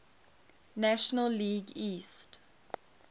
national league east